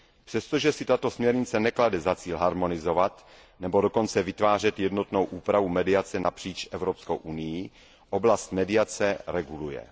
Přestože si tato směrnice neklade za cíl harmonizovat nebo dokonce vytvářet jednotnou úpravu mediace napříč Evropskou unií, oblast mediace reguluje.